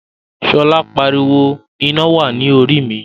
Shola pariwo, "Ina wa ni Orí mi!"